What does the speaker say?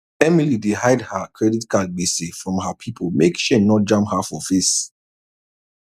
emily dey hide her credit card gbese from her people make shame no jam her for face